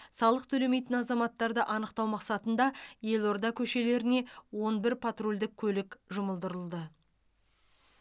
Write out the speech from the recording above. салық төлемейтін азаматтарды анықтау мақсатында елорда көшелеріне он бір патрульдік көлік жұмылдырылды